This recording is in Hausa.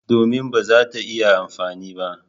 Domin ba za ta iya amfani ba.